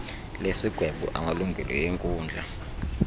lesigwebo samalungelo enkundla